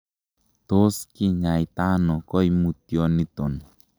Tot kinyaita ono koimutiondoniton?